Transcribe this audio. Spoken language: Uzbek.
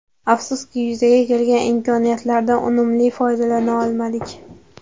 Afsuski yuzaga kelgan imkoniyatlardan unumli foydalana olmadik.